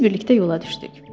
Biz birlikdə yola düşdük.